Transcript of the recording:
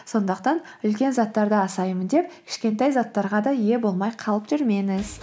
сондықтан үлкен заттарды асаймын деп кішкентай заттарға да ие болмай қалып жүрмеңіз